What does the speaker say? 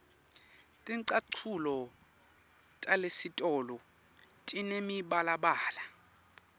ticatfulo talesitolo tinemibalabala